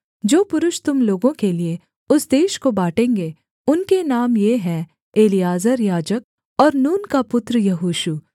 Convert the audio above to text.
जो पुरुष तुम लोगों के लिये उस देश को बाँटेंगे उनके नाम ये हैं एलीआजर याजक और नून का पुत्र यहोशू